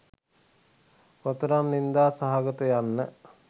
කොතරම් නින්දා සහගත යන්න